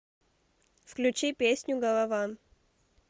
включи песню голова